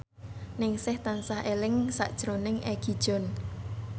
Ningsih tansah eling sakjroning Egi John